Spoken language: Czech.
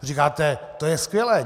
Říkáte, to je skvělé.